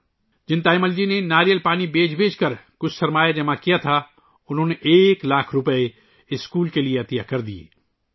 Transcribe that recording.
تایمل جی، جنہوں نے ناریل پانی بیچ کر کچھ سرمایہ جمع کیا تھا، اسکول کے لئے ایک لاکھ روپے کا عطیہ دیا